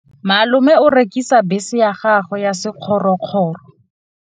Malome o rekisitse bese ya gagwe ya sekgorokgoro.